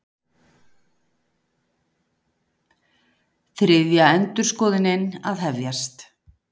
Þriðja endurskoðunin að hefjast